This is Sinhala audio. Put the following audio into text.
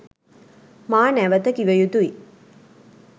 මා නැවත කිව යුතුයි.